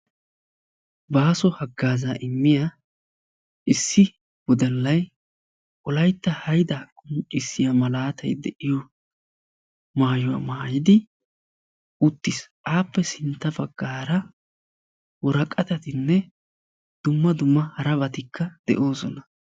Baaso haggaazaa immiyaa issi woddallay wolayitta haydaa qonccissiya malatay de"iyo maayuwa maayidi uttis. Aappe sintta baggaara woraqatatinne dumma dumma harabatikka de'oosona.